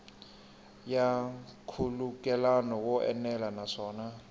ya nkhulukelano wo enela naswona